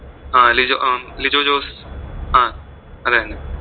ആ ലിജോ ലിജോ ജോസ് ആ അത് തന്നെ